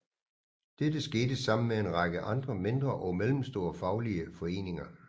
Dette skete sammen med en række andre mindre og mellemstore faglige foreninger